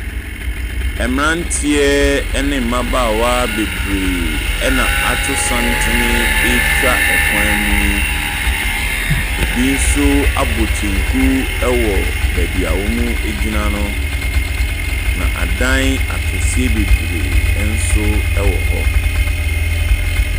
Mmeranteɛ ne mmabaawa bebree na ato santene ɛretwa kwan mu yi. Ɛbi nso abɔ kyɛnku wɔ beebi a wɔgyina no. Na adan akɛseɛ bebree nso wɔ hɔ.